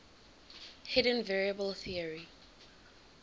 hidden variable theory